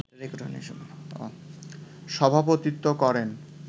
সভাপতিত্ত্ব করেন